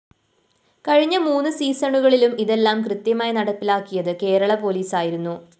കഴിഞ്ഞ മൂന്ന് സീസണുകളിലും ഇതെല്ലാം കൃത്യമായി നടപ്പിലാക്കിയത് കേരള പോലീസായിരുന്നു